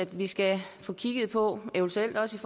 vi skal få kigget på eventuelt også